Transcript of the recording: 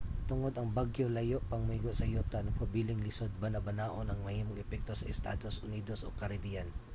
tungod ang bagyo layo pang moigo sa yuta nagpabiling lisod banabanaon ang mahimong epekto sa estados unidos o caribbean